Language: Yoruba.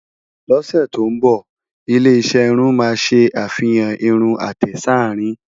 ló ṣé tó nbọ, ilé iṣé irún má sé àfihàn irún àtẹ s'arin